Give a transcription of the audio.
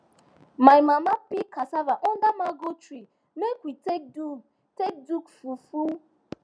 my mama peel casava under mango tree make we take do take do fufu